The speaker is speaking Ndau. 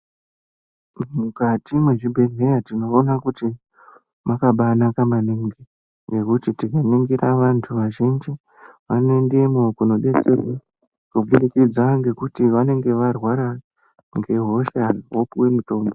Mukati mwechibhedhlera tinoona kuti mwakabanaka maningi ngekuti tikaningira vantu vazhinji vanoendemo kunodetserwe kuburikidza ngekuti vanenge varwara ngehosha vopuwe mitombo.